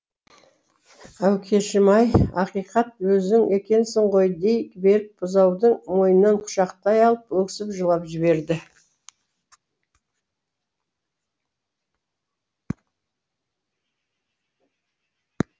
әукешім ай ақиқат өзің екенсің ғой дей беріп бұзаудың мойнынан құшақтай алып өксіп жылап жіберді